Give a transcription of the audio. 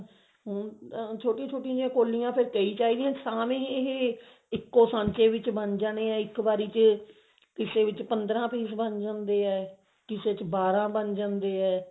ਹੁਣ ਛੋਟੀ ਛੋਟੀ ਜੀ ਕੋਲੀਆਂ ਕਈ ਚਾਹੀਦੀਆਂ ਨੇ ਤਾਹੀ ਇਹ ਇੱਕੋ ਸੰਚੇ ਚ ਬਣ ਜਾਂਦੇ ਇੱਕੋ ਵਾਰੀ ਚ ਕਿਸੇ ਵਿੱਚ ਪੰਦਰਾਂ piece ਬਣ ਜਾਂਦੇ ਨੇ ਕਿਸੇ ਚ ਬਾਰਾਂ ਬਣ ਜਾਂਦੇ ਨੇ